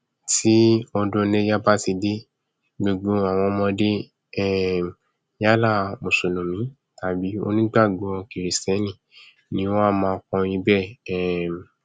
tí ọdún iléya bá ti dé gbogbo àwọn ọmọdé um yálà mùsùlùmí tàbí onígbàgbọ kìrìstẹnì ni wọn a máa kọrin bẹẹ um